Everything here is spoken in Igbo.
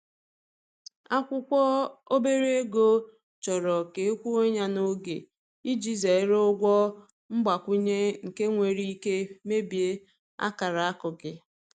Akwụkwọ obere ego chọrọ ka e kwụọ ya n’oge, iji zere ụgwọ mgbakwunye nke nwere ike mebie akara akụ gị.